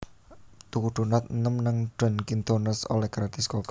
Tuku donat enem nang Dunkin Donuts oleh gratis kopi